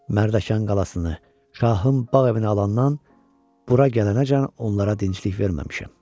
Mərdəkan qalasını şahın bağ evinə alandan bura gələnəcən onlara dinclik verməmişəm.